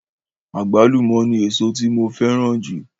Àgbálùmọ̀ ni èso tí mo fẹ́ràn jù.